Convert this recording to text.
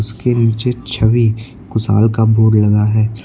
के नीचे छवि कुशाल का बोर्ड लगा है।